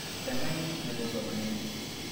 Kiptang'anyit nepo somanet